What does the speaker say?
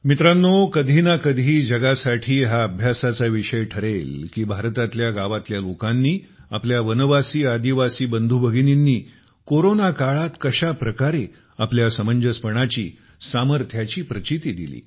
मित्रानो कधी ना कधीजगासाठी हा अभ्यासाचा विषय ठरेल की भारतातल्या गावातल्या लोकांनीआपल्या वनवासीआदिवासी बंधू भगिनींनी कशा प्रकारे आपल्या समंजसपणाची सामर्थ्याची प्रचीती दिली